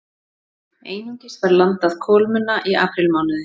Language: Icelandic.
Einungis var landað kolmunna í aprílmánuði